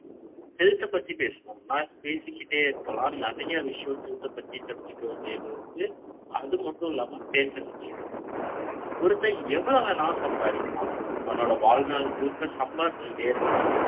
health issue பேசுவோம் பேசிக்கிட்டே இருக்கலாம். நெறைய விஷயம் தூக்கம் பத்தி தெரிஞ்சிக்க வேண்டியது. அது மட்டும் இல்லாம பேச வேண்டியது ஒருத்த எவ்வளவு நான் சம்பாதிக்க ணும். உன்னோட வாழ்நாள் முழுக்க சம்பாரி ச்சு ட்டே இருக்க லாம்.